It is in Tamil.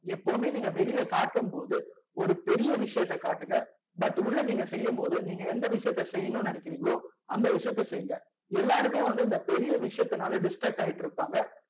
எப்பவுமே நீங்க வெளிய கட்டும் போது ஒரு பெரிய விஷயத்த காட்டுங்க but உள்ள நீங்க செய்யும் போது நீங்க எந்த விஷயத்த செய்யணும்னு நினைக்ரிங்கலோ அந்த விசயாத்த செய்ங்க எல்லாருமே வந்து இந்த பெரிய விசயத்துனால distract ஆயிட்டு இருப்பாங்க